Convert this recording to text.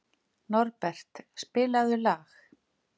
Norbert, spilaðu lag.